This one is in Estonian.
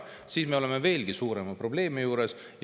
Siis me oleme veelgi suurema probleemi ees.